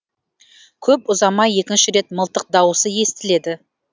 көп ұзамай екінші рет мылтық дауысы естіледі